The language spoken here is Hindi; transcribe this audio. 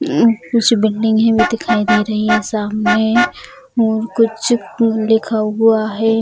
हम्म कुछ बिल्डिंग है भी दिखाई दे रही है सामने और कुछ लिखा हुआ है।